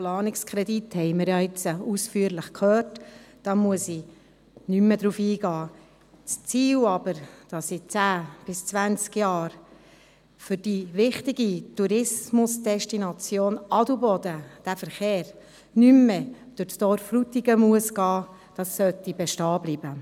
Das Ziel jedoch, dass in zehn bis zwanzig Jahren der Verkehr für die wichtige Tourismusdestination Adelboden nicht mehr durch das Dorf Frutigen gehen muss, sollte bestehen bleiben.